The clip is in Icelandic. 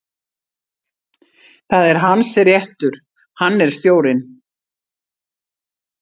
Það er hans réttur, hann er stjórinn.